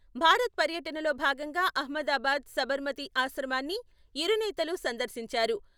భారత పర్యటనలో భాగంగా అహ్మదాబాద్ సబర్మతీ ఆశ్రమాన్ని ఇరు నేతలు సందర్శించారు.